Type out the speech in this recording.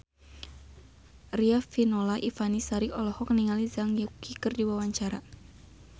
Riafinola Ifani Sari olohok ningali Zhang Yuqi keur diwawancara